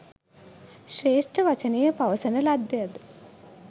ශ්‍රේෂ්ඨ වචනය පවසන ලද්දේ ද?